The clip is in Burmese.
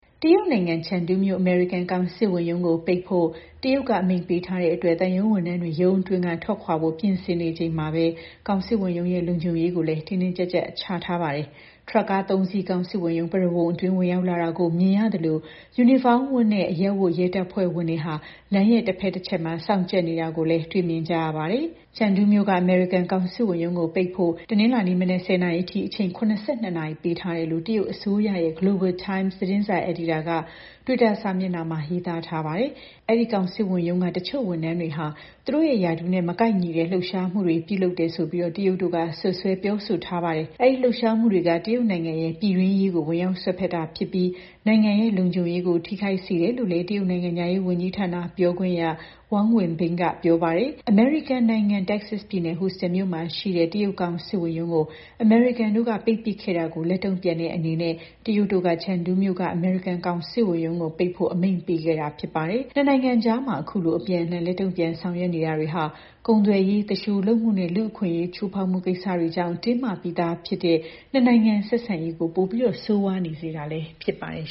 တရုတ်နိုင်ငံ Chengdu မြို့ အမေရိကန် ကောင်စစ်ဝန်ချုပ်ရုံးကို ပိတ်ဖို့ တရုတ်က အမိန့်ပေးထားတဲ့အတွက် သံရုံးဝန်ထမ်းတွေ ရုံးအတွင်းက ထွက်ခွာဖို့ ပြင်ဆင်နေချိန်မှာပဲ ကောင်စစ်ဝန်ရုံးရဲ့ လုံခြုံရေးကိုလည်း တင်းတင်းကျပ်ကျပ် ချထားပါတယ်။ ထရပ်ကား ၃ စီး ကောင်စစ်ဝန်ရုံး ပရဝုဏ်အတွင်း ဝင်ရောက်လာတာကို မြင်ကြရသလို ယူနီဖောင်းဝတ်နဲ့ အရပ်ဝတ် ရဲတပ်ဖွဲ့ဝင်တွေက လမ်းရဲ့ တဖက်တချက်မှာ စောင့်ကြပ်နေတာကို တွေ့မြင်ကြရပါတယ်။ Chengdu မြို့က အမေရိကန် ကောင်စစ်ဝန်ရုံးကို ပိတ်ပစ်ဖို့ တနင်္လာနေ့မနက် ၁၀ နာရီအထိ အချိန် ၇၂ နာရီ ပေးထားတယ်လို့ တရုတ်အစိုးရရဲ့ Global Times သတင်းစာ အယ်ဒီတာက တွစ်တာမှာ ရေးသားထားပါတယ်။ အဲဒီ ကောင်စစ်ဝန်ရုံးက တချို့ဝန်ထမ်းတွေဟာ သူတို့ရဲ့ရာထူးနဲ့ မကိုက်ညီတဲ့ လှုပ်ရှားမှုတွေ ပြုလုပ်တယ်ဆိုပြီး တရုတ်တို့က စွပ်စွဲ ပြောဆိုထားပါတယ်။ အဲဒီလှုပ်ရှားမှုတွေက တရုတ်နိုင်ငံရဲ့ ပြည်တွင်းရေးကို ဝင်ရောက်စွက်ဖက်တာဖြစ်ပြီး နိုင်ငံရဲ့လုံခြုံရေးကို ထိခိုက်စေတယ်လို့လည်း တရုတ်နိုင်ငံခြားရေးဝန်ကြီးဌာန ပြောခွင့်ရ Wang Wenbing က ပြောပါတယ်။ အမေရိကန်နိုင်ငံ တက္ကဆက်ပြည်နယ် ဟူစတန်မြို့မှာရှိတဲ့ တရုတ်ကောင်စစ်ဝန်ရုံးကို အမေရိကန်တို့က ပိတ်ပစ်ခဲ့တာကို လက်တုံ့ပြန်တဲ့ အနေနဲ့ တရုတ်တို့က Chengdu မြို့က အမေရိကန် ကောင်စစ်ဝန်ရုံးကို ပိတ်ဖို့ အမိန့်ပေးခဲ့တာ ဖြစ်ပါတယ်။ နှစ်နိုင်ငံအကြား အခုလို အပြန်အလှန် လက်တုံ့ပြန် ဆောင်ရွက်မှုတွေဟာ ကုန်သွယ်ရေး၊ သူလျှိုလုပ်မှုနဲ့ လူ့အခွင့်အရေးချိုးဖောက်မှု ကိစ္စတွေကြောင့် တင်းမာနေပြီးသားဖြစ်တဲ့ နှစ်နိုင်ငံဆက်ဆံရေးကို ပိုပြီး ဆိုးရွားလာတာ ဖြစ်ပါတယ်